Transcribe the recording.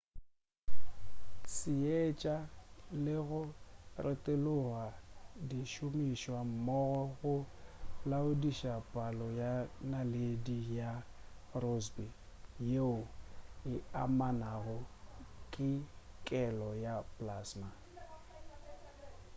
seetša le go retologa di šomišwa mmogo go laodiša palo ya naledi ya rossby yeo e amanago le kelo ya plasma